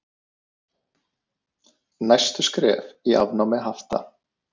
Næstu skref í afnámi hafta